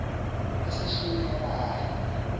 laseshinerayi